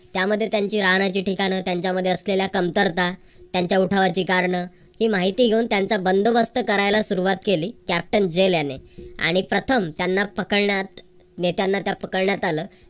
त्यामध्ये त्यांचे राहण्याचे ठिकाण त्यांच्यामध्ये असलेल्या कमतरता त्यांच्या उठावाची कारणे ही माहिती घेऊन त्यांचा बंदोबस्त करायला सुरुवात केली. captain जेन याने आणि प्रथम त्यांना पकडण्यात नेत्यांना तर पकडण्यात आलं.